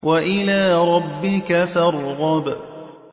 وَإِلَىٰ رَبِّكَ فَارْغَب